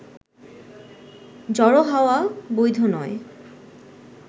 জড়ো হওয়া বৈধ নয়